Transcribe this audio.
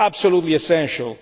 It is absolutely essential.